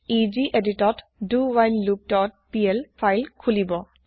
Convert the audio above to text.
ই geditত dowhileloopপিএল ফাইল খুলিব